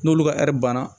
N'olu ka banna